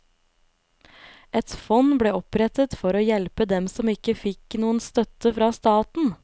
Et fond ble opprettet for å hjelpe dem som ikke fikk noen støtte fra staten.